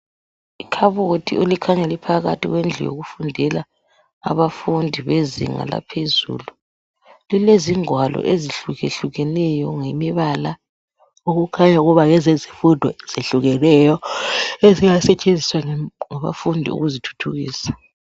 Ikhabothi elikhanya laphakathi kwendlu yokufundela abafundi bezinga laphezulu lilezingwalo ezihlukahlukeneyo ngemibala okukhanya ukuba ngezezifundo ezehlukeneyo ezinga setshenziswa ngabafundi ukuzithuthukisa.